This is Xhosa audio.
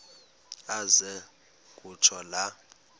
aze kutsho la